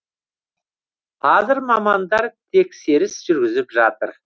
қазір мамандар тексеріс жүргізіп жатыр